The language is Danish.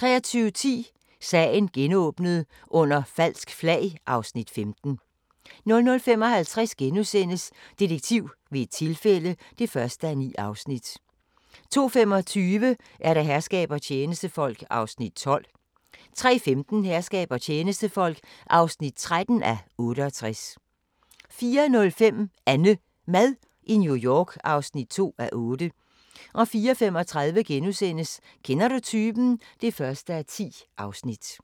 23:10: Sagen genåbnet: Under falsk flag (Afs. 15) 00:55: Detektiv ved et tilfælde (1:9)* 02:25: Herskab og tjenestefolk (12:68) 03:15: Herskab og tjenestefolk (13:68) 04:05: AnneMad i New York (2:8) 04:35: Kender du typen? (1:10)*